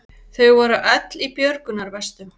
Þau voru öll í björgunarvestum